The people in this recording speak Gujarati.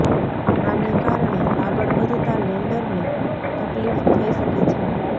આને કારણે આગળ વધતા લેન્ડરને તકલીફ થઈ શકે છે